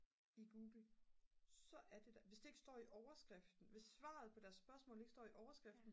i google så er det der hvis det ikke står i overskriften hvis svaret på deres spørgsmål ikke står i overskriften